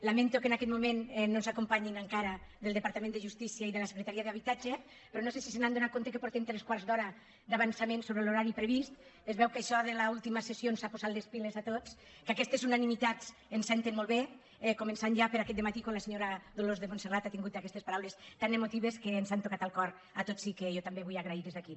lamento que en aquest moment no ens acompanyin encara del departament de justícia i de la secretaria d’habitatge però no sé si s’han adonat que portem tres quarts d’hora d’avançament sobre l’horari previst es veu que això de l’última sessió ens ha posat les piles a tots que aquestes unanimitats ens senten molt bé començant ja per aquest dematí quan la senyora dolors montserrat ha tingut aquestes paraules tan emotives que ens han tocat el cor a tots i que jo també vull agrair des d’aquí